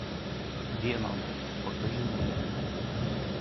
веном покажи мне